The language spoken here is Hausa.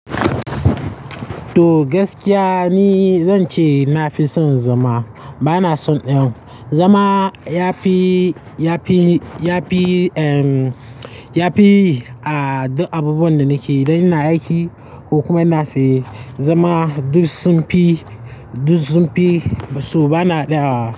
To gaskiya ne zan ce na fi son zama. Ba na son ɗan. Zama ya fi, ya fi, ya fi, ya fi abubuwan da nake dai na aiki ko kuma ina tsaye. Zama duk sun fi, duk sun fi, to ba na ɗaya wa.